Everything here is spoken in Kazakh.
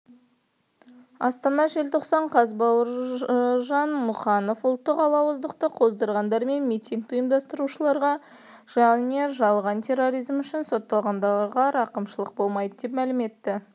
астана желтоқсан қаз бауыржан мұқанов ұлттық алауыздықты қоздырғандар мен митингі ұйымдастырушыларға және жалған терроризм үшін сотталғандарға рақымшылық болмайды деп мәлім етті